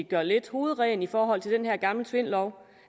gøre lidt hovedrent i forhold til den her gamle tvindlov